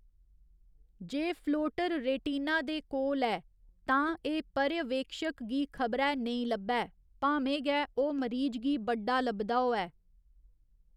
जे floater retina दे कोल ऐ, तां एह् पर्यवेक्षक गी खबरै नेईं लब्भै, भामें गै ओह् मरीज गी बड्डा लभदा होऐ।